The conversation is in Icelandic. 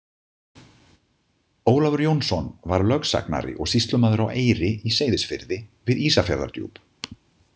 Ólafur Jónsson var lögsagnari og sýslumaður á Eyri í Seyðisfirði við Ísafjarðardjúp.